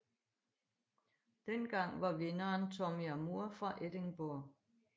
Dengang var vinderen Tommy Armour fra Edinburgh